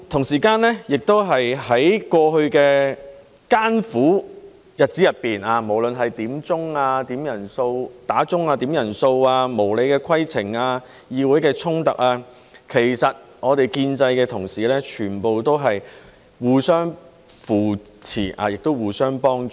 此外，在過去的艱苦日子中，無論面對響鐘、點人數、無理的規程問題、議會的衝突，其實我們建制派的同事全部都是互相扶持，亦互相幫助。